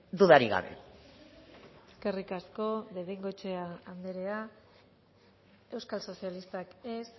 dudarik gabe eskerrik asko de bengoechea andrea euskal sozialistak ez